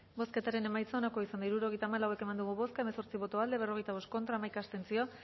bozketaren emaitza onako izan da hirurogeita hamalau eman dugu bozka hamaika